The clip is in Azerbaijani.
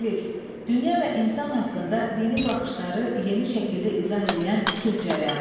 Hürrüfilik, dünya və insan haqqında dini baxışları yeni şəkildə izah eləyən fikir cərəyanı.